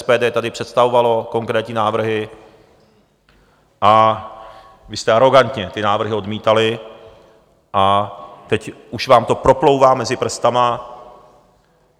SPD tady představovalo konkrétní návrhy, vy jste arogantně ty návrhy odmítali a teď už vám to proplouvá mezi prsty.